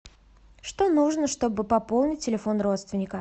что нужно чтобы пополнить телефон родственника